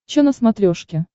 че на смотрешке